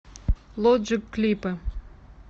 лоджик клипы